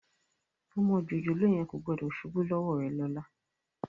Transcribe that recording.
Ọmọ jòjòló yẹn kò gbọ́dọ̀ ṣubú lọ́wọ́ rẹ lọ́la